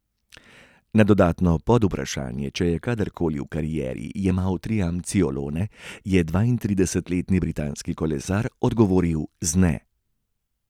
Na dodatno podvprašanje, če je kadarkoli v karieri jemal triamcinolone, je dvaintridesetletni britanski kolesar odgovoril z ne.